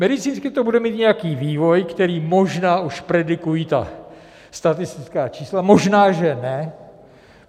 Medicínsky to bude mít nějaký vývoj, který možná už predikují ta statistická čísla, možná, že ne.